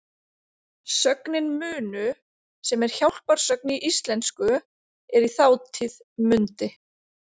Sögnin munu, sem er hjálparsögn í íslensku, er í þátíð mundi.